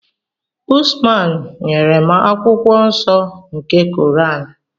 Usman nyere m akwụkwọ nsọ nke Koran.